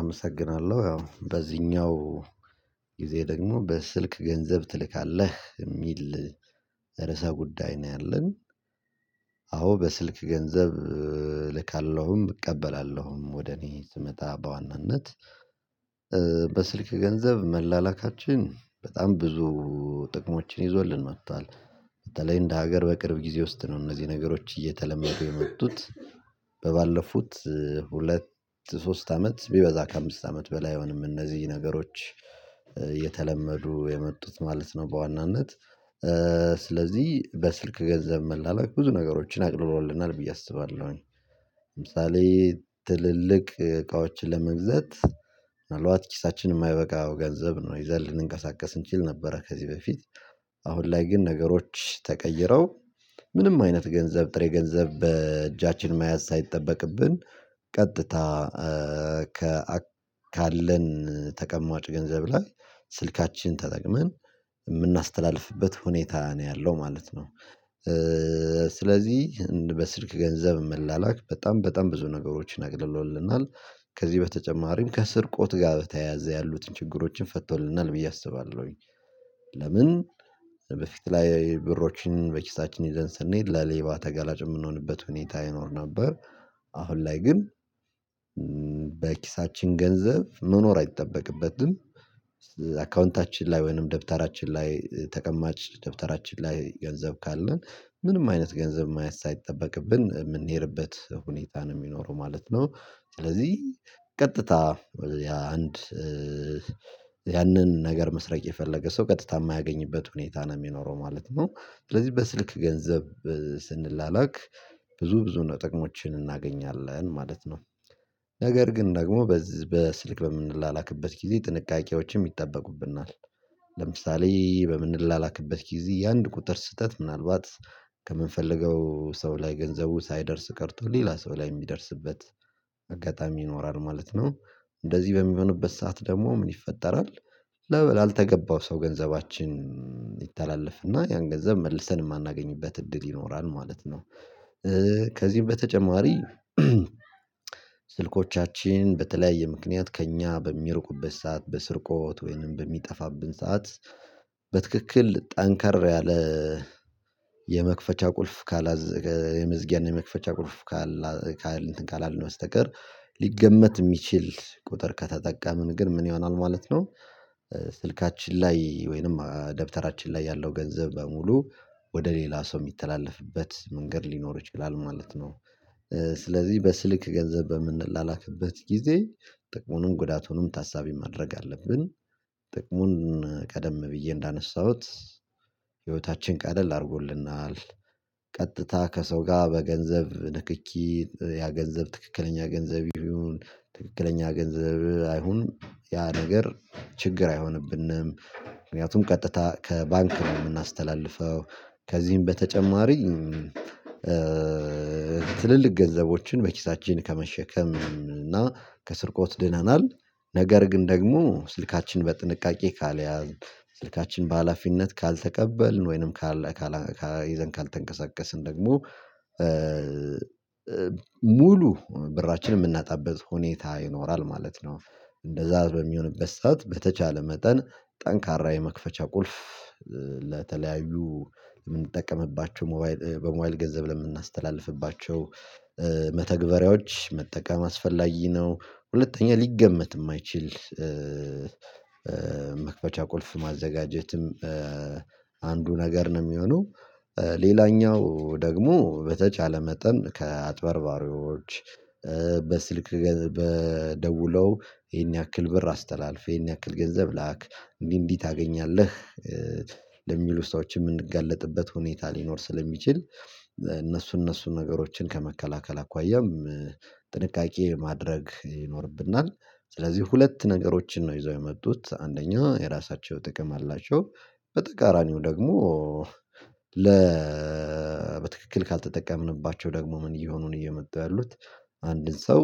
አመሰግናለሁ ያው በዚህኛው ጊዜ ደግሞ በስልክ ገንዘብ ትልካለህ የሚል ርዕሰ ጉዳይ ነው ያለን። አዎ በስልክ ገንዘብ ልካለሁም እቀበላለሁም ወደ እኔ ስመጣ በዋናነት በስልክ ገንዘብ መላላካችን በጣም ብዙ ጥቅሞችን ይዞልን መጥቷል። በተለይ እንደ ሀገር በቅርብ ጊዜ ውስጥ ነው እነዚህ ነገሮች እየተለመዱ የመጡት በባለፉት ሁለት ሶስት አመት ቢበዛ ከአምስት አመት በላይ አይሆንም እነዚህ ነገሮች የተለመዱ የመጡት ማለት ነው። በዋናነት ስለዚህ በስልክ ገንዘብ መላላክ ብዙ ነገሮችን አቅልሎልናል ብዬ አስባለሁኝ። ለምሳሌ ትልልቅ እቃዎችን ለመግዛት ምናልባት ኪሳችን የማይበቃው ገንዘብ ነው ይዘን ልንንቀሳቀስ እንችል ነበረ። ከዚህ በፊት አሁን ላይ ግን ነገሮች ተቀይረው ምንም አይነት ገንዘብ ጥሬ ገንዘብ በእጃችን መያዝ ሳይጠበቅብን ቀጥታ ካለን ተቀማጭ ገንዘብ ላይ ስልካችንን ተጠቅመን እምናስተላልፍብት ሁኔታ ነው ያለው ማለት ነው። ስለዚህ በስልክ ገንዘብ መላላክ በጣም በጣም ብዙ ነገሮችን አቅልሎልናል። ከዚህ በተጨማሪም ከስርቆት ጋር በተያያዘ ያሉትን ችግሮችን ፈቶልናል ብዬ አስባለሁኝ። ለምን በፊት ላይ ብሮችን በኪሳችን ይደን ስንሄድ ለሌባ ተጋላጭ የምንሆንበት ሁኔታ ይኖር ነበር። አሁን ላይ ግን ገንዘብ መኖር አይጠበቅበትም። አካውንታችን ላይ ወይንም ደብተራችን ላይ ተቀማጭ ደብተራችን ላይ ገንዘብ ካለን ምንም አይነት ገንዘብ ማየት ሳይጠበቅብን የምንሄድበት ሁኔታ ነው የሚኖረው ማለት ነው። ስለዚህ ቀጥታ ያ አንድ ነገር መስረቅ የፈለገ ሰው ቀጥታ የማያገኝበት ሁኔታ ነው የሚኖረው ማለት ነው። ስለዚህ በስልክ ገንዘብ ስንላላክ ብዙ ብዙ ነው ጥቅሞችን እናገኛለን ማለት ነው። ነገር ግን ደግሞ በስልክ በምንላክበት ጊዜ ጥንቃቄዎችም ይጠበቁብናል ለምሳሌ በምንላላክበት ጊዜ የአንድ ቁጥር ስህተት ምናልባት ከምንፈልገው ሰው ላይ ገንዘቡ ሳይደርስ ቀርቶ ሌላ ሰው ላይ የሚደርስበት አጋጣሚ ይኖራል ማለት ነው። እንደዚህ በሚሆንበት ሰዓት ደግሞ ምን ይፈጠራል? ለበላ አልተገባው ሰው ገንዘባችን ይተላለፍና ያን ገንዘብ መልሰን የማናገኝበት እድል ይኖራል ማለት ነው። ከዚህም በተጨማሪ ስልኮቻችን በተለያየ ምክንያት ከእኛ በሚርቁበት ሰዓት በስርቆት ወይንም በሚጠፋብን ሰዓት በትክክል ጠንካራ ያለ የመክፈቻ ቁልፍ ካላዘገ የመዝጊያን የመክፈቻ ቁልፍ ካላልነው በስተቀር ሊገመት የሚችል ቁጥር ከተጠቀምን ግን ምን ይሆናል ማለት ነው? ስልካችን ላይ ወይንም ደብተራችን ላይ ያለው ገንዘብ በሙሉ ወደ ሌላ ሰው የሚተላለፍበት መንገድ ሊኖር ይችላል ማለት ነው። ስለዚህ በስልክ ገንዘብ በምንላላክበት ጊዜ ጥቅሙንን ጉዳቱንም ታሳቢ ማድረግ አለብን። ጥቅሙን ቀደም ብዬ እንዳነሳሁት ህይወታችን ቀደል አድርጎልናል። ቀጥታ ከሰው ጋር በገንዘብ ንክኪ ያ ገንዘብ ትክክለኛ ገንዘብ ይሁን ትክክለኛ ገንዘብ አይሁን ያ ነገር ችግር አይሆንብንም። ምክንያቱም ቀጥታ ከባንክ ነው የምናስተላልፈው ከዚህም በተጨማሪ ትልልቅ ገንዘቦችን በኪሳችን ከመሸከም እና ከስርቆት ድነናል። ነገር ግን ደግሞ ስልካችን በጥንቃቄ ካልያዝን ስልካችን በሃላፊነት ካልተቀበልን ወይንም ይዘን ካልተንቀሳቀስን ደግሞ ሙሉ ብራችንን የምናጣበት ሁኔታ ይኖራል ማለት ነው። እንደዛ በሚሆንበት ሰዓት በተቻለ መጠን ጠንካራ የመክፈቻ ቁልፍ ለተለያዩ የምንጠቀምባቸው ሞባይል በሞባይል ገንዘብ ለምናስተላልፍባቸው መተግበሪያዎች መጠቀም አስፈላጊ ነው። ሁለተኛ ሊገመት የማይችል መክፈቻ ቁልፍ ማዘጋጀትም አንዱ ነገር ነው። የሚሆነው ሌላኛው ደግሞ በተቻለ መጠን ከአጥበርባሪዎች በስልክ በደውለው ይሄን ያክል ብር አስተላልፍ ይሄን ያክል ገንዘብ ላክ እንዲህ እንዲህ ታገኛለህ ለሚሉ ሰዎች የምንጋለጥበት ሁኔታ ሊኖር ስለሚችል እነሱ እነሱ ነገሮችን ከመከላከል አኳያም ጥንቃቄ ማድረግ ይኖርብናል። ስለዚህ ሁለት ነገሮችን ነው ይዘው የመጡት አንደኛ የራሳቸው ጥቅም አላቸው። በተቃራኒው ደግሞ ለ በትክክል ካልተጠቀምንባቸው ደግሞ ምን እየሆኑን እየመጡ ያሉት አንድን ሰው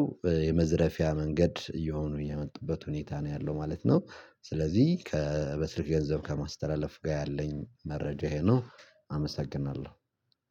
የመዝረፊያ መንገድ እየሆኑ እየመጡበት ሁኔታ ነው ያለው ማለት ነው። ስለዚህ ከ በስልክ ገንዘብ ከማስተላለፍ ጋር ያለኝ መረጃ ይሄ ነው። አመሰግናለሁ።